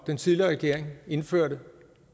den tidligere regering indførte